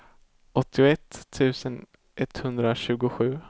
åttioett tusen etthundratjugosju